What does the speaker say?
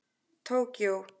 Tókíó